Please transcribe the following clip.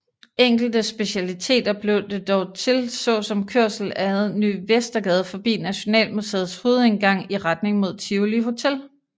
Enkelte specialiteter blev det dog til så som kørsel ad Ny Vestergade forbi Nationalmuseets hovedindgang i retning mod Tivoli Hotel